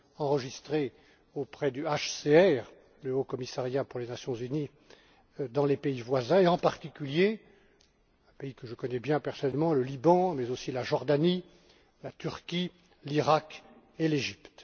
enregistrés auprès du HCR, le Haut Commissariat des Nations Unies pour les réfugiés, dans les pays voisins et, en particulier, pays que je connais bien personnellement, le Liban mais aussi la Jordanie, la Turquie, l'Irak et l'Égypte.